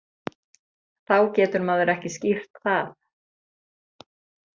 Þá getur maður ekki skýrt það.